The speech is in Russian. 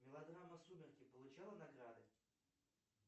мелодрама сумерки получала награды